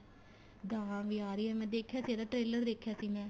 ਦਾਹ ਵੀ ਆ ਰਹੀ ਏ ਮੈਂ ਦੇਖਿਆ ਸੀ trailer ਦੇਖਿਆ ਸੀ ਮੈਂ